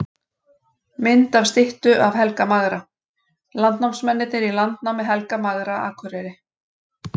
Mynd af styttu af Helga magra: Landnámsmennirnir í landnámi Helga magra Akureyri.